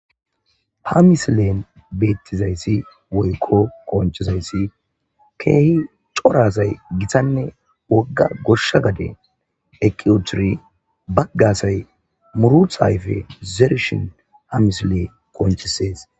ha misilen beettizayssi woykko qonchizayssi keehi corasay githanne wogga gossha gade eqiwuturi baggasay muruthaayfe zerishin ha misile qonchisees